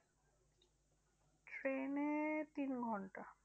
ট্রেনে তিন ঘন্টা।